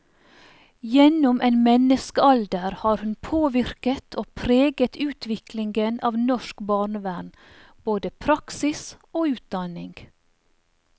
Gjennom en menneskealder har hun påvirket og preget utviklingen av norsk barnevern, både praksis og utdanning.